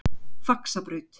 Faxabraut